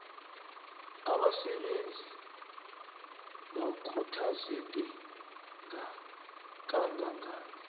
abasebenzi bakhuthazeke kangangani